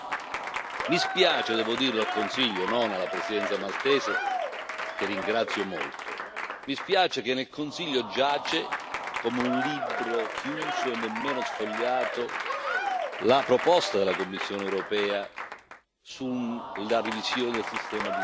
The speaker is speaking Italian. Mi spiace devo dirlo al Consiglio e non alla Presidenza maltese, che ringrazio molto che nel Consiglio giace, come un libro chiuso e nemmeno sfogliato, la proposta della Commissione europea sulla revisione del sistema di Dublino.